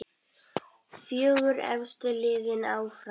Fjögur efstu liðin áfram.